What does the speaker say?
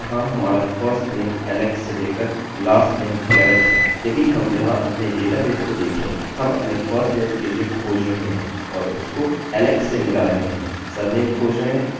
हम यहाँ डेटा की यह पूरी रोपंक्ति चुन रहे हैं जो अभी गुलाबी रंग से चिह्नांकित है और हम यहाँ से पूरा डेटा चुन रहे हैं